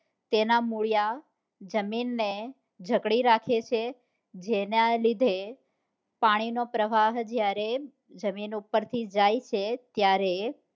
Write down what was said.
તેના મૂળિયા જમીન ને જકડી રાખે છે જેના લીધે પાણી નો પ્રવાહ જયારે જમીન ઉપ્પર થી જાય છે ત્યારે